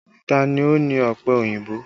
Ta ni ó ní ọpẹ òyìnbó?